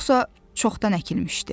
Yoxsa çoxdan əkilmişdi.